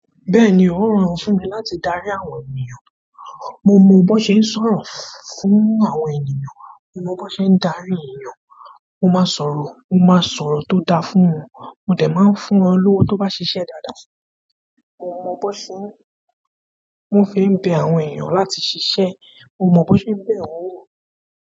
Bẹ́ẹ̀ni, ó rọrùn fún mi láti dári àwọn ènìyàn. Mo mọ bó ṣe ń sọ̀rọ̀ fún àwọn ènìyàn, mo mọ bó ṣe ń darí ènìyàn. Mo ma sọ̀rọ̀, mo maa sọ̀rọ̀ to daa fún wọn. Mo de maa n fún wọn lowo to ba ṣiṣẹ dáadáa. Mo mọ bó ṣe wọ́n fi ń bẹ àwọn ènìyàn láti ṣiṣẹ́, mo mọ bó ṣe ń bẹ̀ wọ́n wò.